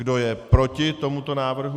Kdo je proti tomuto návrhu?